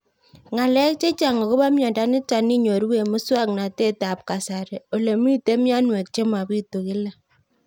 Ng'alek chechang' akopo miondo nitok inyoru eng' muswog'natet ab kasari ole mito mianwek che mapitu kila